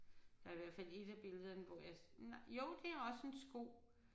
Der er i hvert fald et af billederne hvor jeg jo det er også en sko